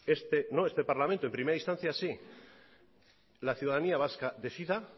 este no este parlamento en primera instancia sí la ciudadanía vasca decida